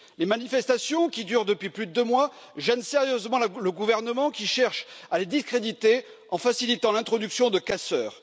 Les manifestations, qui durent depuis plus de deux mois, gênent sérieusement le gouvernement qui cherche à les discréditer en facilitant l'introduction de casseurs.